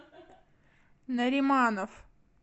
нариманов